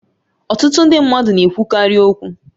Ọtụtụ ndị mmadụ na-ekwukarị okwu